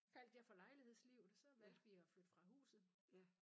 Faldt jeg for lejlighedslivet så valgte vi at flytte fra huset